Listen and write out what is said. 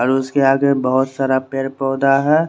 और उसके आगे बहोत सारे पेड़ पोधे है।